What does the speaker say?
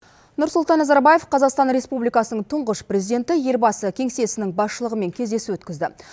нұрсұлтан назарбаев қазақстан республикасының тұңғыш президенті елбасы кеңсесінің басшылығымен кездесу өткізді